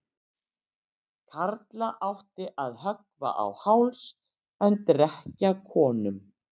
Karla átti að höggva á háls en drekkja konum.